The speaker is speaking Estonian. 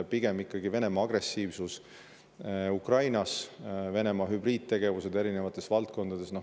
Venemaa on ikkagi agressiivne Ukrainas, hübriidtegevusi erinevates valdkondades.